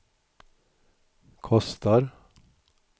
kostar